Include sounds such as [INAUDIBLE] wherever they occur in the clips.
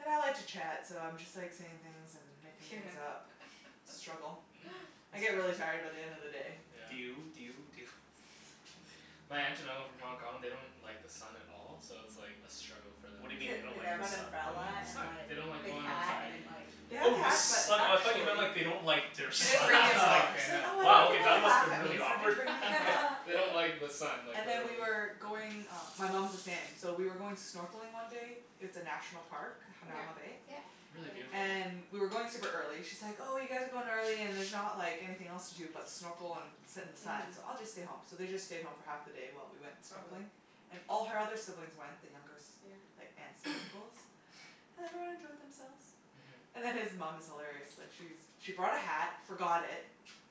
And I like to chat so I'm just like saying things and making things up. Struggle. [LAUGHS] [NOISE] I It's get fine. really tired by the end of the day. Yeah. Do you do you do you My aunt and uncle from Hong Kong, they don't like the sun at all so it was like a struggle for them What do you being mean in they [LAUGHS] don't Did they Hawaii. like have the an sun? They don't umbrella like the and sun. like They don't like thick going hat outside. and like They have Oh, the the hat, but sun. I thought you actually meant like they don't like their She didn't son, [LAUGHS] and bring I the was like umbrella. Okay, She's like, no. "I don't They wow, want okay, don't people to that like must've laugh been at really me, so I awkward. didn't bring the umbrella." [LAUGHS] [LAUGHS] they don't [LAUGHS] like the sun, like And then we literally. were going, uh my mom's the same, so we were going snorkeling one day It's a National Park, Yeah. Hanauma Bay. Yeah. Really Been there. beautiful, yeah. And we were going super early. She's like, "Oh, you guys are going early and there's not like anything else to do but snorkel and sit in the sun, Mhm. so I'll just stay home." So they just stayed home for half the day while we went Probably. snorkeling. And all her other siblings went, the younger Yeah. s- like aunts and [NOISE] uncles. And everyone enjoyed themselves. Mhm. And then his mom is hilarious. Like she's she brought a hat, forgot it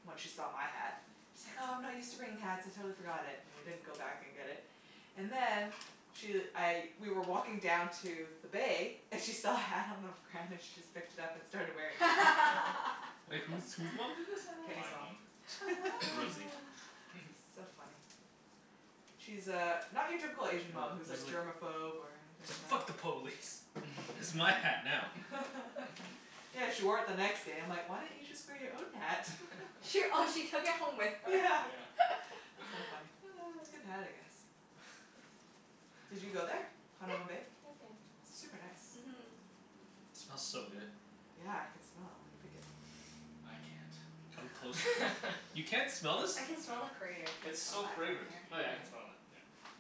when she saw my hat she's like, "Oh, I'm not used to bringing hats. I totally forgot it." And we didn't go back and get it. And then she, I, we were walking down to the bay and she saw a hat on the ground, and she just picked it up and started wearing it. [LAUGHS] Wait, whose whose mom did this? Kenny's My mom. mom. [LAUGHS] [NOISE] Rosie. [LAUGHS] [LAUGHS] [LAUGHS] So funny. She's uh not your typical Asian mom Well, who's she's like like germophobe or anything like "Fuck the police!" "It's my hat now." [LAUGHS] [LAUGHS] Yeah, she wore it the next day. I'm like, "Why don't you just wear your own hat?" [LAUGHS] She, oh [LAUGHS] she took it home with her? [LAUGHS] Yeah. Yeah. [LAUGHS] So funny. Good hat, I guess. Did you [LAUGHS] go there? Yeah, Hanauma Bay? I've been. Super nice. Mhm. It smells so good. Yeah, I can smell it while you pick it. [NOISE] I can't. Come closer. [LAUGHS] You can't smell this? I can smell No. the curry. I can't It's smell so that from fragrant. here. Oh yeah, I can Yeah? smell that. Yeah.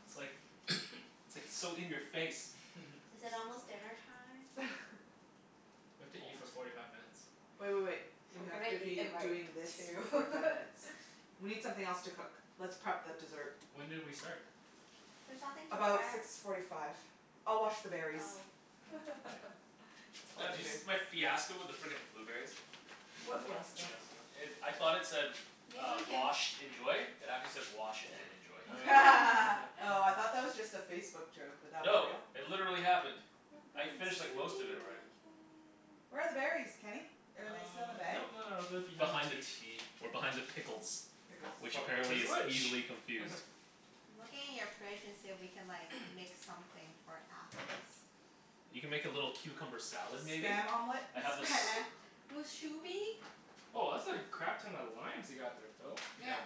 It's like, [NOISE] it's like so in your face. [LAUGHS] Is it almost [INAUDIBLE] dinnertime? [LAUGHS] We have to eat for Almost. forty five minutes. Wait wait wait. I'm We have gonna to eat be in like doing this for two. [LAUGHS] forty five minutes. We need something else to cook. Let's prep the dessert. When did we start? There's nothing to About prep. six forty five. I'll wash the berries. Oh. Mm. [LAUGHS] Oh, yeah. That's It's all I Bah all do can you there. do. s- my fiasco with the frickin' blueberries? M- What what fiasco? fiasco? It, I thought it said Maybe uh, we can "Washed. Enjoy." It actually said, "Wash and enjoy." Oh. [LAUGHS] [LAUGHS] Oh, I thought [LAUGHS] that was just a Facebook joke, but that was No, real? it literally happened. Where are I the [INAUDIBLE] we berries? finished can. like most of it already. Where are the berries, Kenny? Are Uh, they still in the bag? nope, no, no, no, they're behind the Behind the tea. tea. Or behind the [NOISE] pickles. Pickles. Which But which is apparently is which? easily confused. [LAUGHS] I'm looking in your fridge and see if we can like [NOISE] make something for appies. You can make a little cucumber salad, maybe? Spam omelet? I have [LAUGHS] this Spam! Mus shubi? Woah, that's a crap ton of limes you got there, Phil. Yeah. Yeah.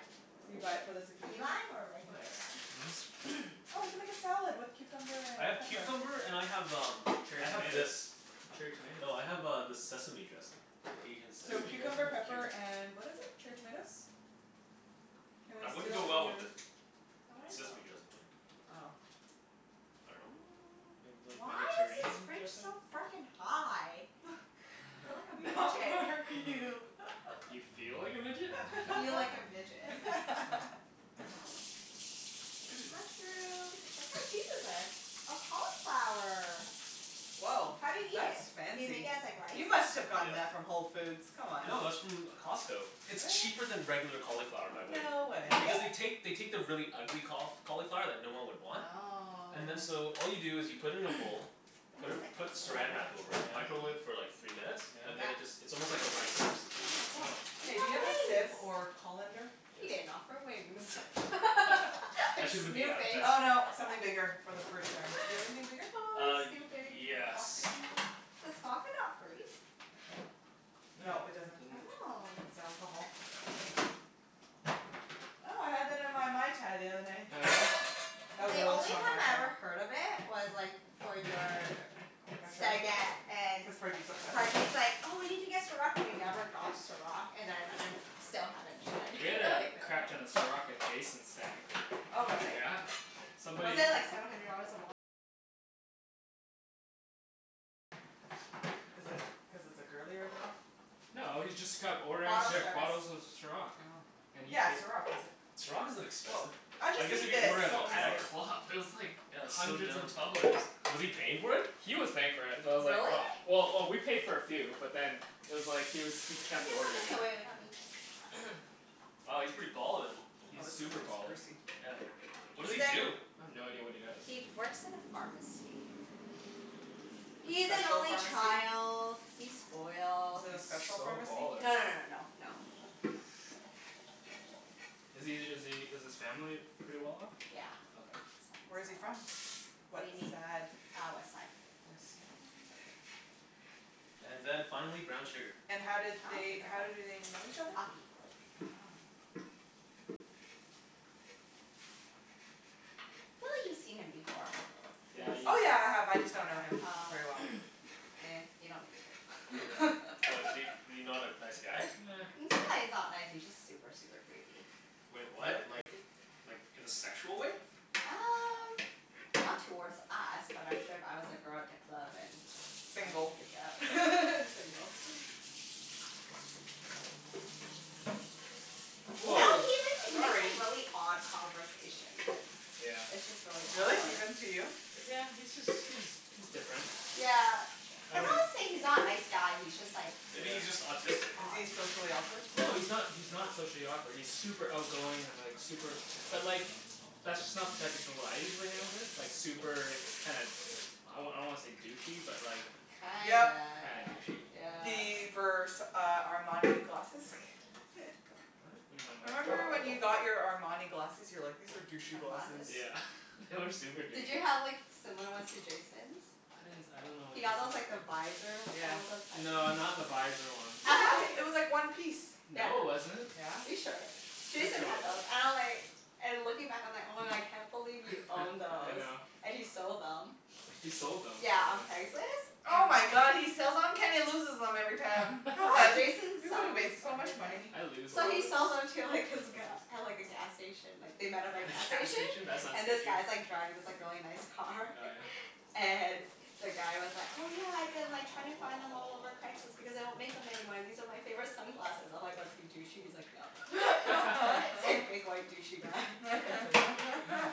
Did you buy it for this Key occasion? lime, or regular Nice. lime? Why [NOISE] Oh, we can make is [INAUDIBLE] a salad with cucumber and I have pepper. cucumber and I have um Cherry I have tomatoes. this. Cherry No, tomatoes I as have well. uh this sesame dressing. The Asian So sesame dressing cucumber, with pepper, cumin. and what is it? Cherry tomatoes? Can we That wouldn't go steal your well with the That wouldn't go. sesame dressing, would it? Oh. I dunno. Do you have Mm, like why is this Mediterranean fridge dressing? so frickin' high? [LAUGHS] Feel like [LAUGHS] a Not [INAUDIBLE] midget. [LAUGHS] You [LAUGHS] feel like a midget? [LAUGHS] I feel like a [LAUGHS] midget. [LAUGHS] [LAUGHS] There's a mushroom. What kind of cheese [NOISE] is this? Oh, cauliflower. Woah. How do you eat That's it? Do you make fancy. it as like rice? You must've gotten that Yeah. from Whole Foods, come on? No, that's from Costco. It's Really? cheaper than regular cauliflower by weight. No way. Because they Really? take, they take the really ugly caul- cauliflower that no one would want and then Oh. so all you do is you put it in a [NOISE] bowl Oh, put I it like this put [INAUDIBLE] drawer Saran Wrap over it, Yeah? microwave it for thingie. like three minutes. And Yeah. then it just, Yeah? it's almost like a rice substitute. Mm, cool. Oh. You Hey, do you have have a wings. sieve or colander? He Yes. didn't offer wings. [LAUGHS] I'm That should have been the appetizer. snooping. Oh, no, something bigger [LAUGHS] for the fruit, sorry. Do you have anything bigger? [LAUGHS] Always Uh, snooping. Like, a yes. plasticky one? Does vodka not freeze? No, No, it doesn't. doesn't. Oh. It's alcohol. Oh, I had that in my Mai Tai the other night. Oh yeah? That was The a really only strong Mai time I Tai. ever heard of it was like for your [INAUDIBLE] stagette and Cuz Parjeet's obsessed? Parjeet's like, "Oh, we need to get Ciroc," and we never got Ciroc. And then I'm, still haven't tried. We had [LAUGHS] a I know crap ton of Ciroc [LAUGHS] at Jason's stag. Oh really? Yeah, somebody Is it cuz it's a girlier drink? No, he's just kept ordering Bottle C- Here. bottles service. of Ciroc. Oh. And he Yeah, pai- Ciroc, is it Ciroc isn't Woah, expensive. I I guess just if need you this, order at a Oh, at a honestly. club. club, it was like Yeah, that's so hundreds dumb. of dollars. Was he paying for it? He was paying for it, so I was like, Really? Oh. well Well, oh we paid for a few, but then it was like he was, he You kept can put ordering this it. away. We don't need this pot. [NOISE] Wow, he's pretty ballin'. He's Oh, this is super baller. [INAUDIBLE] Yeah. What does he He's in do? I have no idea what he does. He'd works in a pharmacy. Mm. A He's an special only pharmacy? child. He's spoiled. Is it a He's special so pharmacy? baller. No no no no no no. No. [LAUGHS] Is he is he is his family pretty well off? Yeah, Okay. his Where is family's he well off. from? What Whaddya mean? sad? Ah, west side. West side. And then finally, brown sugar. And how did Brown they, sugar? how do Oh. they know each other? Hockey. Oh. I feel like you've seen him before. You Yeah, must you've Oh, yeah, have. I me- have. I Oh just don't know him yeah. Oh. very well. [NOISE] Ehh, you don't need Yeah. to. [LAUGHS] What, is he, [LAUGHS] is he not a nice guy? Eh. It's not that he's not nice, he's just super, super creepy. Wait, what? Really? Like Creepy? like in a sexual way? Um not towards us, but I'm sure if I was a girl at the club and I'd be Single. creeped out. [LAUGHS] And single. [NOISE] I Woah, dunno Well he make, like makes like sorry. really odd conversations and Yeah. it's just really Really? awkward. Even to you? Yeah, he's just, he's he's different. Yeah. I I'm don't not Is he saying he's not a nice guy, he's just like Maybe Yeah. he's just autistic. Is he odd. socially awkward? No, he's not, he's not socially awkward. He's super outgoing and like super But like, that's just not the type of people I usually hang out with. Like super kinda, I wa- I don't wanna say douchey, but like Kinda, Yep. Kinda douchey. yeah. The Vers- uh Armani glasses? What? What are you talking [LAUGHS] about? Remember, when you got your Armani glasses? You were like, "These are douchey glasses." Sunglasses? Yeah. [LAUGHS] They were super Did douchey. you have like similar ones to Jason's? I didn't s- I don't know what He Jason's got those look like. like the visor Yeah. No, not [INAUDIBLE] the visor ones. Yeah. It [LAUGHS] was like one piece. Yeah. No it wasn't. Are you Yeah. sure? Pretty Jason sure it had those. wasn't. And I'm like and looking back I'm like, "Oh my god, I can't believe you [LAUGHS] owned I those." know. And he sold them. He sold them. Yeah, on [INAUDIBLE] Craigslist. Oh my And god, he sells on? Kenny loses them every time. [LAUGHS] Ah, Oh, Jason we would have sells made so much everything. money. I lose a So lot he of s- sells them to like this sunglasses. guy at like a gas station like they met At at a gas a gas station, station? That's not and this sketchy. guy's like driving this like really nice Oh car. yeah? [LAUGHS] And the guy was like, "Oh yeah, I've been like trying to find them all over Craigslist because they don't make them anymore and these are my favorite sunglasses." I'm like, "Was he douchey?" He's like, "Yep." [LAUGHS] [LAUGHS] He's like a [LAUGHS] big white douchey guy. [LAUGHS] [LAUGHS]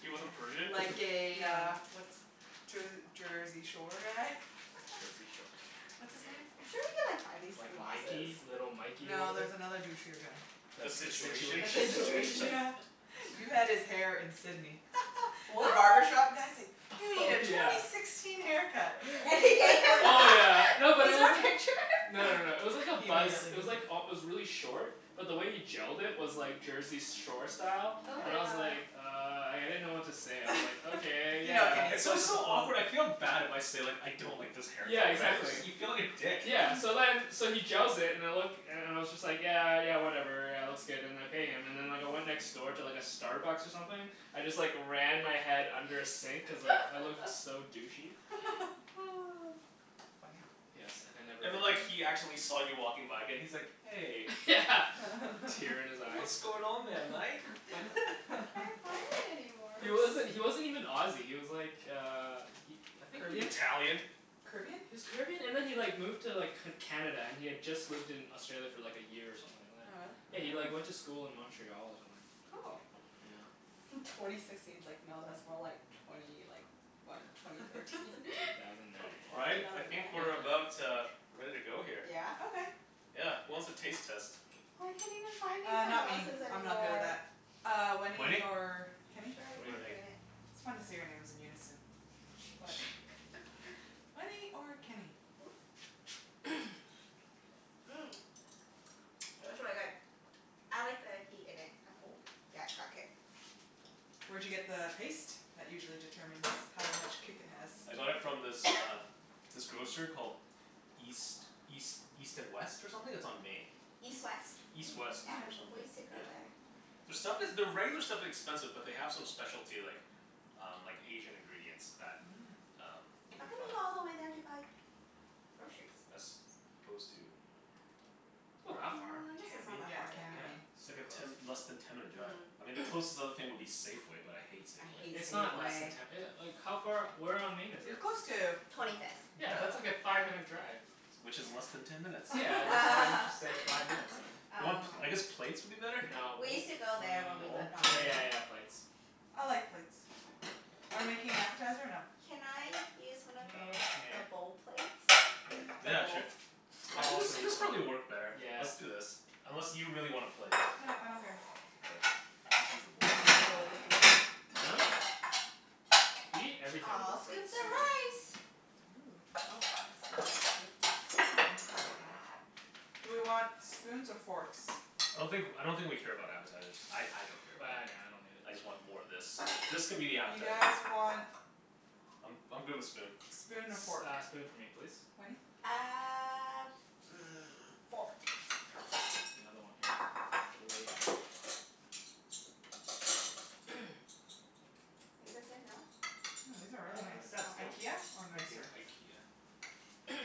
He wasn't [NOISE] Persian? Like a uh No. what's Jer- Jersey Shore guy? Jersey Shore. [LAUGHS] What's his name? I'm sure we could like find these Like sunglasses. Mikey. Little Mikey, or No, whatever? there's another douchier guy. The The the Situation? The The Situation? Situation, Situation? yeah. [LAUGHS] You [LAUGHS] had his hair in Sidney. [LAUGHS] The What? barbershop guy's like, "You need Oh a twenty yeah. sixteen haircut." And And he he gave went him like Oh this. yeah. that? [LAUGHS] No, but it Is there a wasn't picture? No no no, it was like a [LAUGHS] He buzz, immediately it was like [INAUDIBLE] al- it was really short. But the way he gelled it was like Jersey s- Shore style. Oh And my I Yeah. was god. like "Uh," like, I didn't know what to say, I was like, [LAUGHS] "Okay, You know yeah." Kenny. He It's goes always with so the flow. awkward. I feel bad if I say like "I don't like this haircut," Yeah, right? exactly. You feel like a dick. Yeah. So [NOISE] then, so he gels it and it look and and I was just like "Yeah, yeah whatever, yeah it looks good." And I pay him. And then like I went next door to like a Starbucks or something. I just like ran my head under a sink cuz like I looked [LAUGHS] so douchey. [LAUGHS] [NOISE] Funny. Yes, and I never And then like returned. he actually saw you walking by again. He's like, "Hey." Yeah, a tear in his [LAUGHS] eye. "What's going on there, mate?" [LAUGHS] Can't find [LAUGHS] it anymore. He wasn't, he wasn't even Aussie, he was like uh he, I think he Caribbean? Italian? Caribbean? He was Caribbean and then he like moved to like C- Canada, and he had just lived in Australia for like a year or something like that. Oh, Yeah, really? he Oh. like went Mm. to school in Montreal or something. Oh. Yeah. Twenty sixteen's like no, that's more like twenty like what? Yeah. Twenty thirteen? [LAUGHS] [LAUGHS] Two thousand nine. Twenty, All right. two I thousand nine? think we're [LAUGHS] about uh ready to go here. Yeah? Okay. Yeah. Who wants a taste test? I can't even find these Uh, not me. sunglasses I'm not good at anymore. that. Uh, Wenny Wenny? or Kenny? Sure, I Go What do for you can it. do think? it. It's fun to say our names in unison. What? [LAUGHS] [NOISE] Wenny or Kenny? Ooh. [NOISE] Mmm, [NOISE] that's really Yeah? good. I like the heat in it and ooh, yeah, it's got kick. Where'd you get the paste? That usually determines how much kick it has. I got it from this uh [NOISE] this grocer called East East East and West, or something? It's on Main. East West. East Hmm. West, Oh Yeah. or yeah? We something, used to go yeah. there. Their stuff is, their regular stuff expensive but they have some specialty like um like Asian ingredients that Mm. um you How can come find. you go all the way there to buy groceries? As opposed to? It's not Where? Well, that far. I guess it's not Cambie. that Yeah. far, Cambie, yeah. Yeah, Main. It's like super a close. ten, less than ten minute drive. Mm. I mean the [NOISE] closest other thing would be Safeway, but I hate I Safeway. hate It's not less than Safeway. ten e- like how far, where on Main is You're it? close to, oh no, Twenty fifth. Yeah, that's like wait. [NOISE] Yeah. a five minute drive. Which is less than Yeah. ten minutes. Yeah, just why [LAUGHS] didn't you say [LAUGHS] five minutes then? Do you want, Um I guess plates would be better? No, We bowl used to go there when we Bowl? lived uh, on okay yeah Main. yeah yeah plates. I like plates. [NOISE] Are we making an appetizer or no? Can I use one of Mm, those? nah. The bowl plates? [NOISE] The Yeah, bowls? sure. I I'll think this also use this one. probably work better. Yeah. Let's do this. Unless you really want a plate? No, I don't care. Okay, we'll just use the bowls I go with then. the flow. Huh? You eat everything with I'll a plate, scoop the Susan. rice. Ooh. Oh, that's not a scoop. This'll do. That's okay. It's It's thick sticky enough. enough. Do we want spoons or forks? I don't think, I don't think we care about appetizers. I I don't care about Bah, them. nah, I don't need it. I just want more of this. This can be the You appetizer. guys want I'm I'm good with spoon. spoon and a fork. S- uh spoon for me, please. Wenny? Uh, hmm, fork. Another one here for later. [NOISE] Is this enough? Mm, these are really Uh nice. You that's want good. more? IKEA, or Thank you. nicer? IKEA.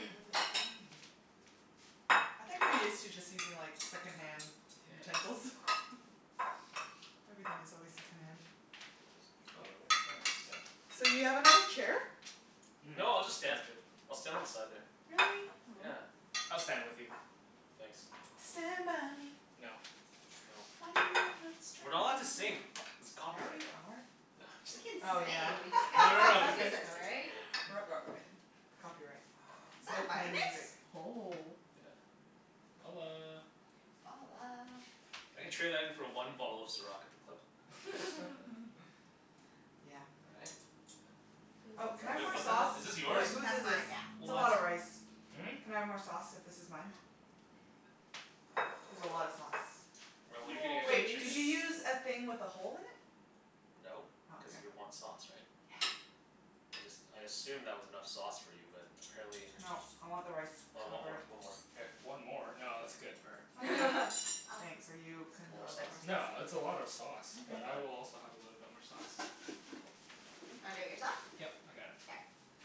They're really thin. I think we're used to just using like second-hand [LAUGHS] utensils. [LAUGHS] Everything is always second-hand. Take this. Oh Oh, really? thanks. So, do you have Yeah. [INAUDIBLE] another chair? Mmm, No, I'll just stand. that's good. I'll stand on the side there. Really? Yeah. Oh. I'll stand with you. Thanks. [INAUDIBLE] Stand by me. No. No. When you're not We're not allowed to strong. sing. It's Yeah, copyright. we are. [LAUGHS] We Just, can Oh, [NOISE] yeah. sing, we just can't no no [LAUGHS] listen no to just kidding. There's music, Just copy. kidding. right? [NOISE] Right, right, right. Copyright. Is that No a playing Vitamix? music. Oh. Yeah. Balla. Ballah. I could trade that in for one bottle of Ciroc at the club. [LAUGHS] [LAUGHS] Yeah. All right. And that. Whose Oh, can I is have Wait, more what this? the sauce? hell? Is this Oh, wait. yours? Whose That's is this? mine, yeah. It's a lot What? of rice. Hmm? Can I have more sauce, if this is mine? Mm. There's a lot of sauce. Well, what are you gonna More, get for Wait. Did please. chicken? you use a thing with a hole in it? No, Oh, cuz okay. you want sauce, right? Yeah. I just, I assumed that was enough sauce for you, but apparently Nope. I want the rice Oh, one more, covered. one more. Here. One more? No, Yeah. that's good for her. That's good. [LAUGHS] I'll scoop Thanks. Are you con- a Want more little bit more sauce? sauce No, in Yeah. that's a lot of it. sauce, but Where's Okay. I mine? will also have a little bit more sauce. Do you wanna do it yourself? Yep, I got it. K.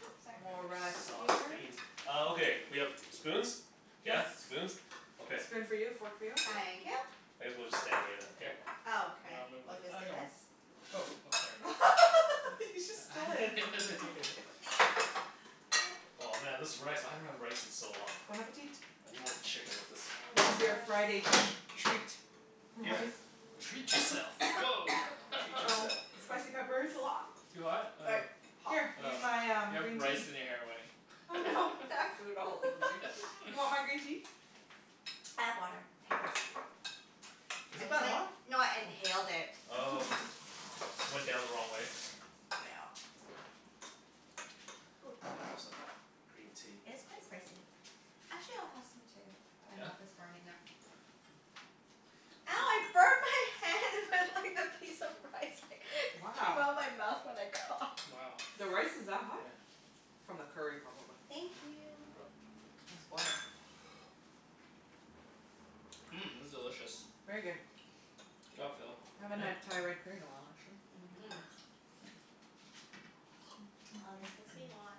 Oops, You guys More sorry. rice are sauce here. fiends. Oh, okay. We have spoons? Yes. Yeah, spoons? Okay. Spoon for you, fork for you. Good. Thank you. I guess we'll just stand here then. Yeah. Yep. Oh, Here, okay. I'll move We'll with, just I do got one. this. Oh, oh sorry. [LAUGHS] Thanks. He just stole [LAUGHS] I his. guess I took it. [LAUGHS] There. Oh man, this rice. I haven't had rice in so long. Bon appetit. I need more chicken with I this. This love is your rice. Friday treat. Yeah. Rice. Treat yourself. Woah. [LAUGHS] Treat uh-oh. yourself. Spicy peppers? [NOISE] Too hot. Too hot? Oh. Like hot. Here, [NOISE] I Oh. use my um You have green rice tea. in your hair, Wenny. Oh [LAUGHS] no. have food all over me. [LAUGHS] You want my green tea? I have water, Okay. thanks. Is I it just that like, hot? no I Huh. inhaled it. Oh. [LAUGHS] Went down the wrong way? Nyeah. [NOISE] Hoo. Better have some green tea. It is quite spicy. Actually, I'll have some [NOISE] too. My Yeah? mouth is burning up. Ow, I Hmm. burned my hand with like the piece of rice that came Wow. out of my mouth when I [NOISE] coughed. Wow. The Yeah. rice is that hot? Yeah. From the curry, probably. Thank No you. problem. It's boiling. [NOISE] Mmm, this is delicious. Very good. Good job, Phil. Haven't had Yeah. Thai red curry [NOISE] in a while, actually. Mhm. Yeah. Aw, this makes me [NOISE] want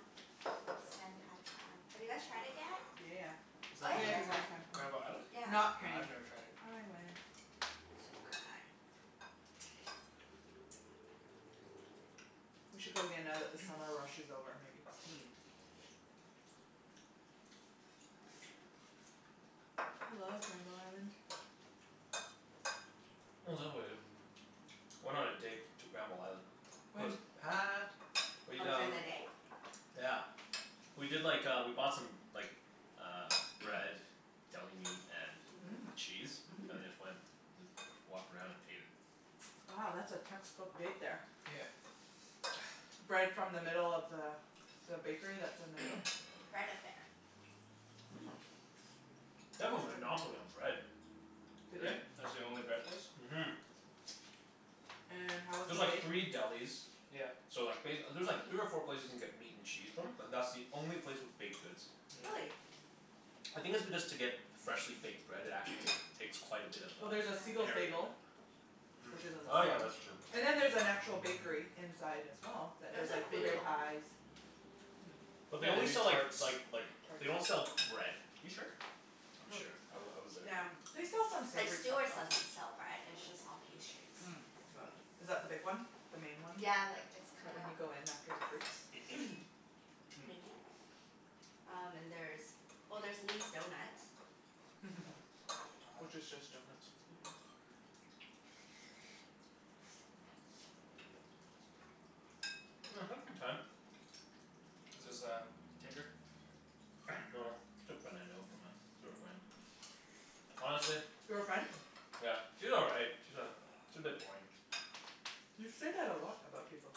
Sen Pad Thai. Have you guys tried it yet? Yeah, yeah, Is Oh that the yeah, you one, guys yeah. [INAUDIBLE] went last time. Granville Island? Yeah. No, Not Kenny. I've never tried it. I went. So good. We should go again now that the summer rush is over, maybe? [NOISE] Mm. [NOISE] I love Granville Island. [NOISE] Oh, is that what I did? [NOISE] Went on a date to Granville Island. It was When? packed. [NOISE] Oh, We'd during um the day? [NOISE] Yeah. We did like uh, we bought some like uh bread. [NOISE] Deli [NOISE] meat Mhm. and Mmm. cheese. And then Mhm. Mmm. just went, just walked around and ate it. Oh, that's a textbook date, there. [NOISE] Yeah. [NOISE] Bread from the middle of the the bakery that's in the middle? Bread Affair. Oh. [NOISE] They have a monopoly on [INAUDIBLE] bread. [NOISE] [NOISE] They Do do? they? That's the only bread place? Mhm. And how [NOISE] was the There's like bake? three delis [NOISE] Yep. [NOISE] so like ba- [NOISE] there's three or Mhm. four places you can get meat and cheese from, but that's the only [NOISE] place with baked goods. [NOISE] Mm. Really? [NOISE] I think it's because to get freshly baked bread it actually take takes quite a bit of Well, there's a uh Siegel's Yeah. area. Bagel. Mm, Which isn't the oh yeah, same. that's true. And then there's an actual bakery inside, as well, that There's does a like blueberry few. pies. Mmm. [NOISE] [NOISE] But they Yeah, we only do sell like tarts. like like, they Tarts. don't sell bread. You sure? I'm No, sure. I oh. w- I was there. [NOISE] Yeah. They sell some Like savory stuff, Stewart's though. doesn't sell bread. It's [NOISE] just all pastries. Mm. Mm [NOISE] [NOISE] is that the big one? The main one? Yeah, like it's Right kinda when you go in, after the fruits? [NOISE] Mm. Maybe. Um and there's, well there's Lee's Donuts. [NOISE] [LAUGHS] Which is just [NOISE] donuts. Mhm. [NOISE] [NOISE] [NOISE] I had a good time. [NOISE] No, Is this just a uh Tinder? girl I know from uh, through a friend. [NOISE] Honestly Through a friend? [NOISE] [NOISE] Yeah, she's all right. She's a she's a bit boring. You say that a lot about people.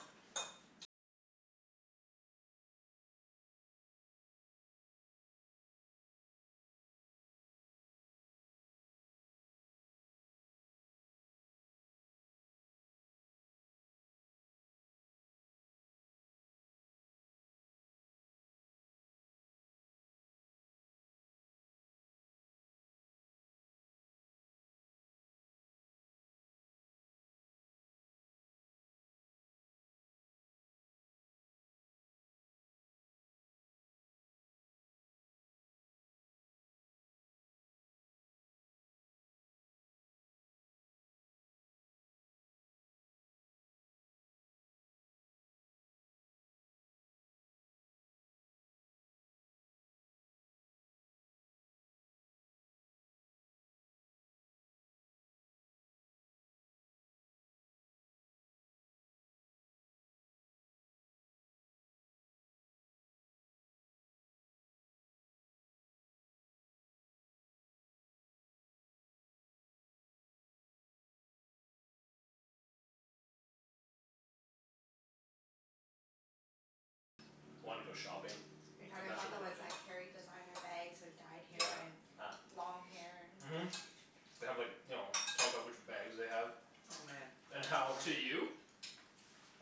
[NOISE] Are you talking about the ones that carry designer bags with dyed hair Yeah, and ah. long hair and Mhm. [NOISE] They have like, you know, talk about which bags they have. Oh man [NOISE] And [INAUDIBLE] how To you? [NOISE]